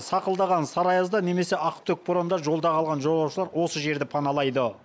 сақылдаған сары аязда немесе ақтүтек боранда жолда қалған жолаушылар осы жерді паналайды